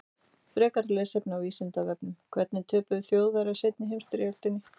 Frekara lesefni á Vísindavefnum: Hvernig töpuðu Þjóðverjar seinni heimsstyrjöldinni?